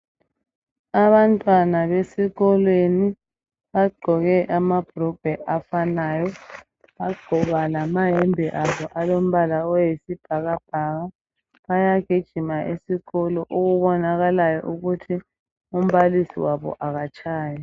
Abantwana besikolweni bagqoke amabhulugwe afanayo bagqoka lamayembe abo alombala oyisibhakabhaka bayagijima esikolo okubonakalayo ukuthi umbalisi wabo akatshayi.